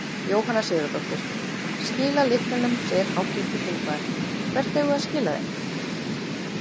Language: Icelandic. Jóhanna Sigurðardóttir: Skila lyklunum segir háttvirtur þingmaður, hvert eigum við að skila þeim?